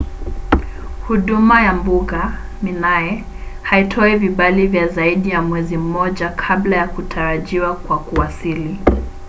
huduma ya mbuga minae haitoi vibali vya zaidi ya mwezi mmoja kabla ya kutarajiwa kwa kuwasili